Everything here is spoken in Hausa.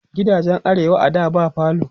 gidajen arewa a da ba falo